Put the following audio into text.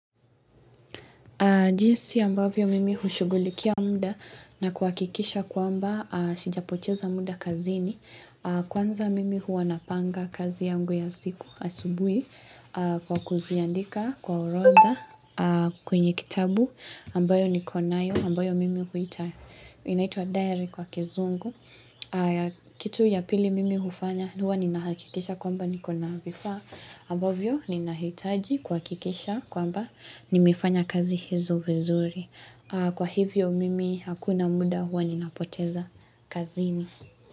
Jisi ambavyo mimi hushughulikia muda na kuhakikisha kwamba sijapoteza muda kazini kwanza mimi huwa napanga kazi yangu ya siku asubuhi kwa kuziandika kwa orodha kwenye kitabu ambayo niko nayo ambayo inaitwa diary kwa kizungu kitu ya pili mimi hufanya huwa ninahakikisha kwamba nikona vifaa ambavyo ninahitaji kuhakikisha kwamba nimefanya kazi hizo vizuri kwa hivyo mimi hakuna muda huwa ninapoteza kazini.